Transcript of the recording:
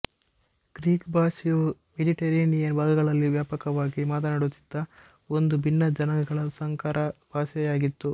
Greek ಭಾಷೆಯು Mediterranean ಭಾಗಗಳಲ್ಲಿ ವ್ಯಾಪಕವಾಗಿ ಮಾತನಾಡುತ್ತಿದ್ದ ಒಂದು ಭಿನ್ನ ಜನಾಂಗಗಳ ಸಂಕರ ಭಾಷೆ ಯಾಗಿತ್ತು